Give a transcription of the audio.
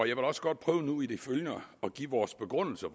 jeg vil også godt prøve nu i det følgende at give vores begrundelse